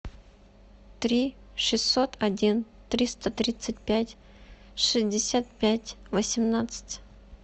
три шестьсот один триста тридцать пять шестьдесят пять восемнадцать